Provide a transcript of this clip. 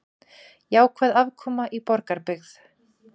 Jákvæð afkoma í Borgarbyggð